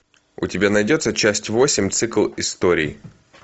у тебя найдется часть восемь цикл историй